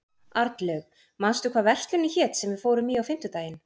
Arnlaug, manstu hvað verslunin hét sem við fórum í á fimmtudaginn?